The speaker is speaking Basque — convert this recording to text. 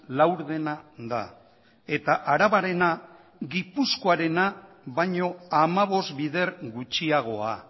laurdena da eta arabarena gipuzkoarena baino hamabost bider gutxiagoa